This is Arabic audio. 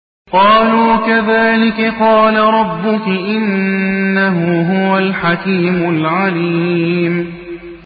قَالُوا كَذَٰلِكِ قَالَ رَبُّكِ ۖ إِنَّهُ هُوَ الْحَكِيمُ الْعَلِيمُ